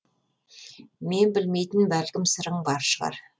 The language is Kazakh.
мен білмейтін бәлкім сырың бар шығар